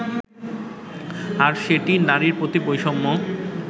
আর সেটিই নারীর প্রতি বৈষম্য